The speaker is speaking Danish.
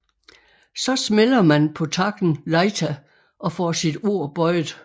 Så smælder man på takken Leita og får sit ord bøjet